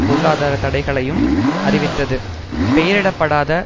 பொருளாதார தடைகளையும் அறிவித்தது பெயரிடப்படாத